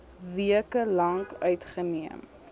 weke lank uitgeneem